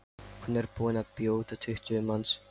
Hún er búin að bjóða tuttugu manns.